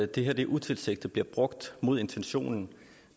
det her utilsigtet bliver brugt mod intentionen